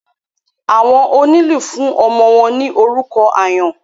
Àwọn onílù fún ọmọ wọn ní orúkọ àyán.